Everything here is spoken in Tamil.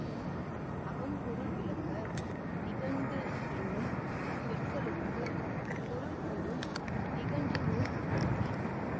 அகம்பொருள் விளக்க நிகண்டு என்னும் சொற்களுக்குப் பொருள் கூறும் நிகண்டு நூல் கிபி